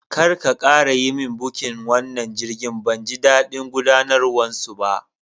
Karka ƙara yi min bukin wannan jirgin, banji daɗin gudanarwan su ba!